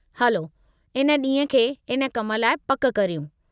हलो इन ॾींहं खे इन कम लाइ पकि करियूं।